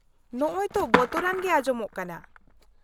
-ᱱᱚᱜᱼᱚᱭ ᱛᱚ ᱵᱚᱛᱚᱨᱟᱱ ᱜᱮ ᱟᱸᱡᱚᱢᱚᱜ ᱠᱟᱱᱟ ᱾